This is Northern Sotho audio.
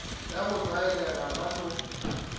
ya go tlwaelega ba no